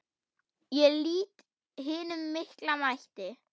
Ég lýt hinum mikla mætti.